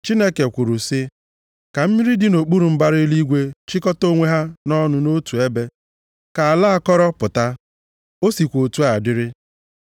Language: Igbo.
Chineke kwuru sị, “Ka mmiri dị nʼokpuru mbara eluigwe chịkọta onwe ha ọnụ nʼotu ebe, ka ala akọrọ pụta.” O sikwa otu a dịrị.